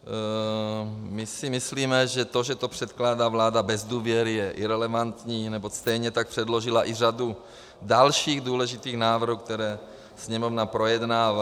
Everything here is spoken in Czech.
My si myslíme, že to, že to předkládá vláda bez důvěry, je irelevantní, neboť stejně tak předložila i řadu dalších důležitých návrhů, které Sněmovna projednává.